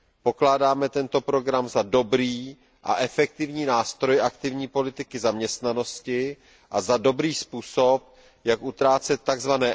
Pokládáme tento program za dobrý a efektivní nástroj aktivní politiky zaměstnanosti a za dobrý způsob, jak utrácet tzv.